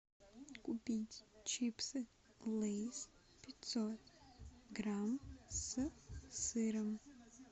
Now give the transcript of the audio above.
купить чипсы лейс пятьсот грамм с сыром